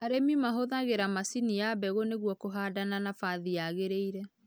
Arĩmĩ mahũthagĩra macini ya mbegũ nĩgũo kũhanda na nabathi yagĩgĩrĩrire.